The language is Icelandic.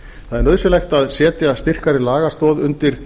það er nauðsynlegt að setja styrkari lagastoð undir